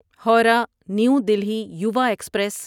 Howrah new Delhi Yuva express